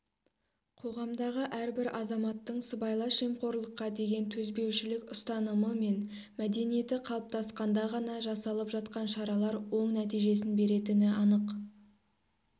қоғамдағы әрбір азаматтың сыбайлас жемқорлыққа деген төзбеушілік ұстанымы мен мәдениеті қалыптасқанда ғана жасалып жатқан шаралар оң нәтижесін беретіні анық